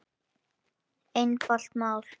Einfalt mál.